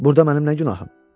Burda mənim nə günahım?